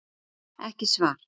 Ekki svar